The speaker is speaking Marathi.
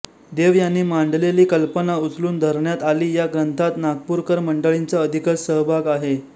देव यांनी मांडलेली कल्पना उचलून धरण्यात आली या ग्रंथात नागपूरकर मंडळीचा अधिकच सहभाग आहे